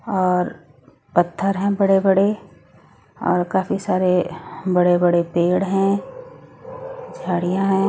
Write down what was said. और पत्थर है बड़े बड़े और काफी सारे बड़े बड़े पेड़ हैं झाड़ियां है।